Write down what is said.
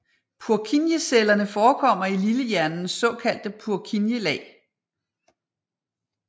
Purkinjecellerne forekommer i lillehjernens såkaldte Purkinje lag